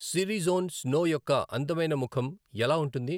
సిరి Jon Snow యొక్క అందమైన ముఖం ఎలా ఉంటుంది